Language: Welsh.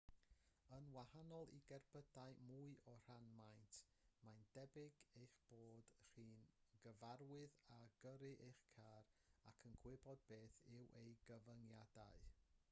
yn wahanol i gerbydau mwy o ran maint mae'n debyg eich bod chi'n gyfarwydd â gyrru eich car ac yn gwybod beth yw ei gyfyngiadau